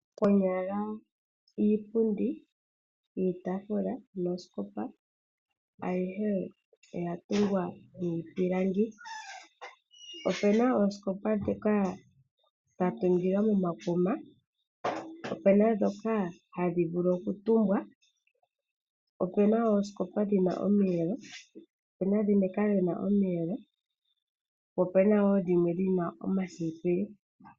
Konyala iipundi, iitaafula nooskopa ayihe oya longwa miipilangi. Opena ooskopa ndhoka dha tungilwa momakuna, opena ndhoka hadhi vulu okutumbwa , opuna ooskopa dhina omiyelo opena woo dhimwe dhina omasipili.